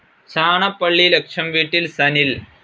ചാണപ്പള്ളി ലക്ഷം വീട്ടിൽ സനിൽ